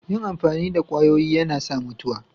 Yin amfani da kwayoyi yana sa mutuwa.